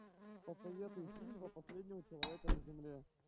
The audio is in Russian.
посоветуй фильм про последнего человека на земле